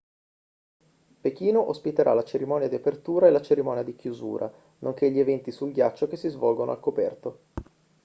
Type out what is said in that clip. pechino ospiterà la cerimonia di apertura e la cerimonia di chiusura nonché gli eventi sul ghiaccio che si svolgono al coperto